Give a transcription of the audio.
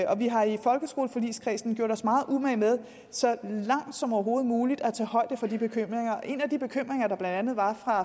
og vi har i folkeskoleforligskredsen gjort os meget umage med så langt som overhovedet muligt at tage højde for de bekymringer en af de bekymringer der blandt andet var